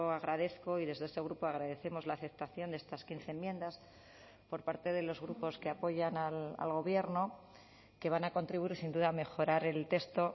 agradezco y desde este grupo agradecemos la aceptación de estas quince enmiendas por parte de los grupos que apoyan al gobierno que van a contribuir sin duda a mejorar el texto